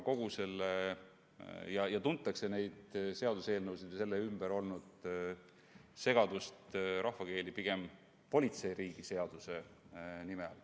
Neid seaduseelnõusid, mille ümber on olnud nii palju segadust, tuntakse rahvakeeli pigem politseiriigi seaduse nime all.